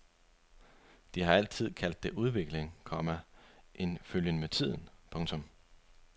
De har altid kaldt det udvikling, komma en følgen med tiden. punktum